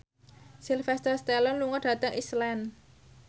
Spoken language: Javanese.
Sylvester Stallone lunga dhateng Iceland